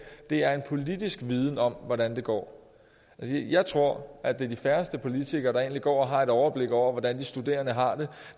er en politisk viden om hvordan det går jeg tror at det er de færreste politikere der egentlig går og har et overblik over hvordan de studerende har det